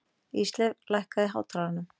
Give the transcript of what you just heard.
Ísleif, lækkaðu í hátalaranum.